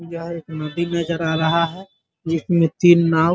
इधर नदी नजर आ रहा है जिसमे तीन नाव --